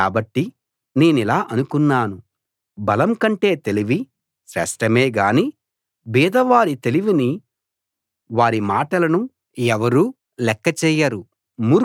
కాబట్టి నేనిలా అనుకున్నాను బలం కంటే తెలివి శ్రేష్ఠమేగాని బీదవారి తెలివిని వారి మాటలను ఎవరూ లెక్కచేయరు